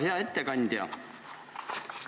Hea ettekandja!